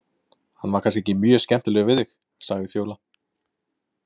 Hann var kannski ekki mjög skemmtilegur við þig, sagði Fjóla.